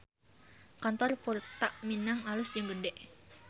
Kantor Purta Minang alus jeung gede